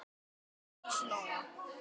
Arndís Lóa.